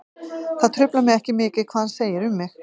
Það truflar mig ekki mikið hvað hann segir um mig.